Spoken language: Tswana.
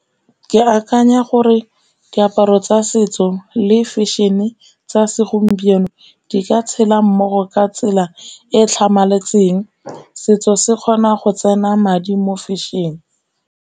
Ke akanya gore diaparo tsa setso le fashion-e tsa segompieno, di ka tshela mmogo ka tsela e e tlhamaletseng. Setso se kgona go tsena madi mo fashion-e.